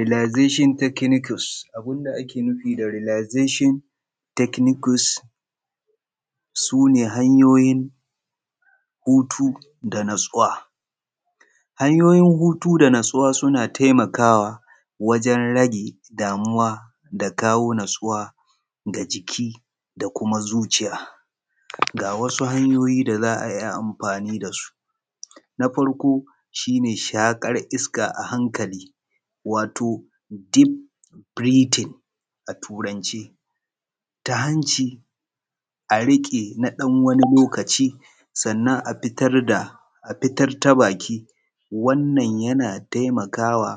Relaxation techniques, abun da ake nufi da Relaxation techniques su ne hanyoyin hutu da natsuwa. Hanyoyin hutu da natsuwa suna taimakawa wajen rage damuwa da jawo natsuwa ga jiki da kuma zuciya. Ga wasu hanyoyi da za a iya amfani da su. Na farko shi ne shaƙar iska a hankali shi ne deep breathing a turance, ta hanci a riƙe na ɗan wani lokaci sannan a fitar ta baki. Wannan yana taimakawa